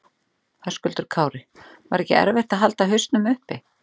Höskuldur Kári: Var ekki erfitt að halda hausnum uppi?